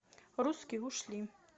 русские ушли